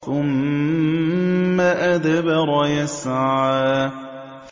ثُمَّ أَدْبَرَ يَسْعَىٰ